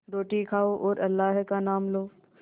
रोटी खाओ और अल्लाह का नाम लो